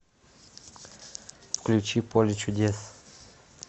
включи поле чудес